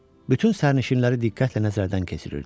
Bütün sərnişinləri diqqətlə nəzərdən keçirirdi.